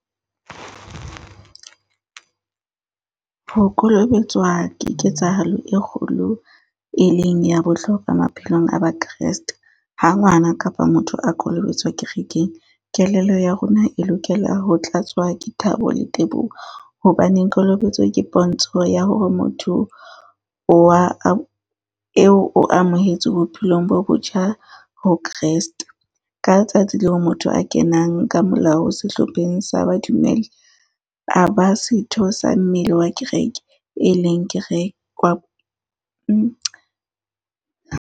Ho kolobetswa ke ketsahalo e kgolo, e leng ya bohlokwa maphelong a ba Kreste. Ha ngwana kapa motho a kolobetswa kerekeng, kelello ya rona e lokela ho tlatswa ke thabo le teboho. Hobaneng kolobetso ke pontsho ya hore motho o wa , eo o amohetswe bophelong bo botjha ho Kreste. Ka tsatsi leo motho a kenang ka molao sehlopheng sa ba dumele, a ba setho sa mmele wa kereke, e leng ke re wa .